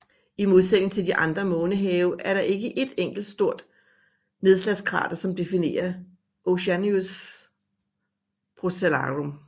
I modsætning til de andre månehave er der ikke et enkelt enkelt stort nedslagskrater som definerer Oceanus Procellarum